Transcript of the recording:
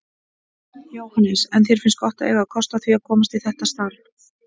Jóhannes: En þér finnst gott að eiga kost á því að komast í þetta starf?